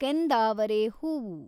ಕೆಂದಾವರೆ ಹೂವು